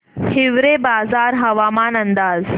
हिवरेबाजार हवामान अंदाज